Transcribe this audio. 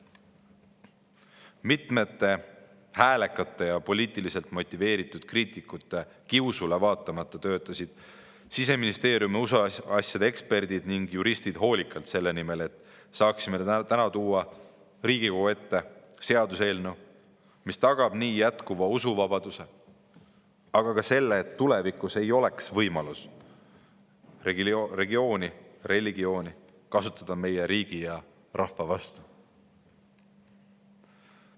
Mitmete häälekate ja poliitiliselt motiveeritud kriitikute kiusule vaatamata töötasid Siseministeeriumi usuasjade eksperdid ja juristid hoolikalt selle nimel, et saaksime täna tuua Riigikogu ette seaduseelnõu, mis tagab jätkuva usuvabaduse, aga ka selle, et tulevikus ei oleks võimalik kasutada religiooni meie riigi ja rahva vastu.